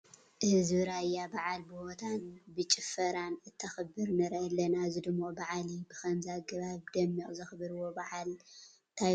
ህዝቢ ራያ በዓል ብሆታን ብጭፈራን እንተኽብር ንርኢ ኣለና፡፡ እዚ ድሙቕ በዓል እዩ፡፡ ብኸምዚ ኣገባብ ብደሚቕ ዘኽብርዎ በዓል እንታይ ኮን ይኸውን?